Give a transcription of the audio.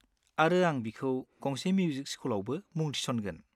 -आरो आं बिखौ गंसे मिउजिक स्कुलआवबो मुं थिसनगोन।